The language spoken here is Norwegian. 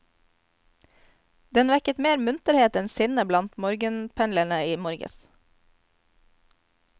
Den vekket mer munterhet enn sinne blant morgenpendlerne i morges.